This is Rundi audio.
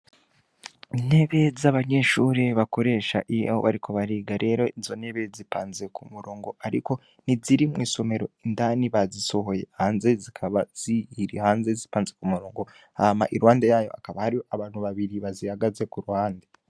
Intebe z'abanyeshure bakoresha iyo bariko bariga rero izo ntebe zipanze ku murongo ariko ntiziri mw'isomero indani bazisohoye hanze zikaba ziri hanze zipanze ku murongo, hama iruhande yayo hakaba hari abantu babiri bazihagaze ku ruhande.